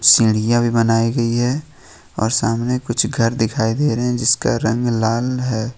सीढियां भी बनाई गई है और सामने कुछ घर दिखाई दे रहे हैं जिसका रंग लाल है।